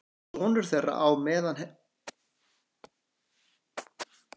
Sonur þeirra á með henni dóttur um þrítugt sem býr á Flateyri.